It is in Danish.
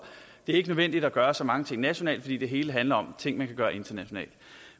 ikke nødvendigt at gøre så mange ting nationalt fordi det hele handler om ting man kan gøre internationalt